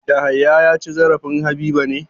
Yahaya ya ci zarafin Habiba ne?